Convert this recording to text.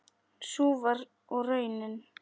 Sú var og raunin.